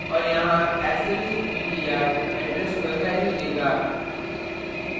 और यहाँ asterisk ptr address पर value देगा